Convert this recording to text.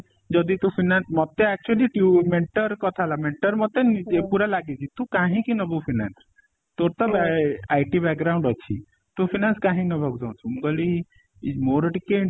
ଯଦି ତୁ fiance ମତେ actually ଟ୍ୟୁ mentor କଥା ହେଲା mentor ମତେ ନିଜେ ପୁରା ଲାଗିଛି ତୁ କାହିଁକି ନବୁ finance ତୋର ତ IT ଅଛି ତୁ finance କାହିଁ ନବାକୁ ଚାହୁଁଚୁ? ମୁଁ କହିଲି ଇ ମୋର ଟିକେ